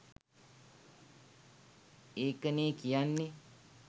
ඒකනේ කියන්නෙ